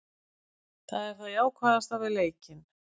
Það er það jákvæðasta við leikinn.